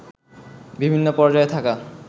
বিভিন্ন পর্যায়ে থাকা